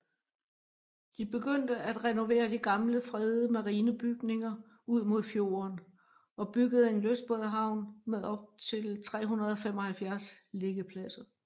De begyndte at renovere de gamle fredede marinebygninger ud mod fjorden og byggede en lystbådehavn med op til 375 liggepladser